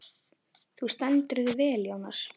Þú stendur þig vel, Jónar!